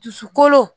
Dusukolo